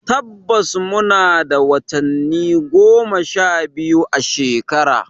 Tabbas muna da watanni goma sha biyu a shekara.